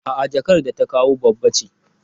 A'a jakar da ta kawo babba ce.